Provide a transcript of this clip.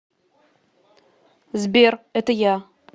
сбер это я